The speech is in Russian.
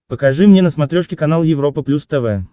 покажи мне на смотрешке канал европа плюс тв